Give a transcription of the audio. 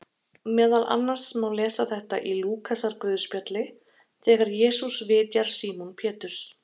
Meðal annars má lesa þetta í Lúkasarguðspjalli þegar Jesús vitjar Símon Péturs: